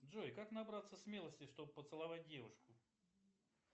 джой как набраться смелости чтобы поцеловать девушку